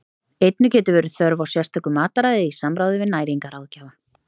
Einnig getur verið þörf á sérstöku mataræði í samráði við næringarráðgjafa.